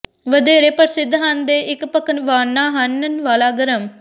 ਵਧੇਰੇ ਪ੍ਰਸਿੱਧ ਹਨ ਦੇ ਇਕ ਪਕਵਾਨਾ ਹਨ ਵਾਲਾ ਗਰਮ